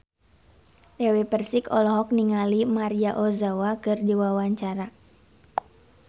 Dewi Persik olohok ningali Maria Ozawa keur diwawancara